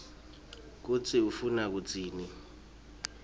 kutsi ufuna kutsini